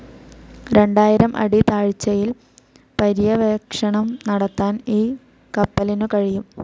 രണ്ടായിരം അടി താഴ്ച്ചയിൽ പര്യവേക്ഷണം നടത്താൻ ഈ കപ്പലിനു കഴിയും.